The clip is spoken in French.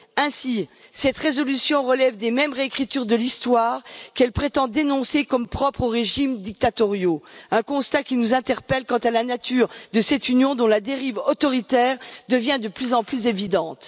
Ainsi, cette résolution relève des mêmes réécritures de l'Histoire qu'elle prétend dénoncer comme propres aux régimes dictatoriaux, un constat qui nous interpelle quant à la nature de cette Union dont la dérive autoritaire devient de plus en plus évidente.